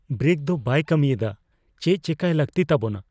Brake ᱫᱚ ᱵᱟᱭ ᱠᱟ, ᱢᱤᱭᱮᱫᱟ ᱾ ᱪᱮᱫ ᱪᱮᱠᱟᱭ ᱞᱟᱹᱜᱛᱤ ᱛᱟᱵᱚᱱᱟ ?